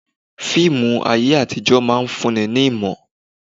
Fíìmù ayé àtijó máa ń fún ni ní ìmọ̀.